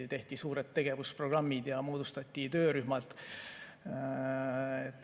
Tehti suured tegevusprogrammid ja moodustati töörühmad.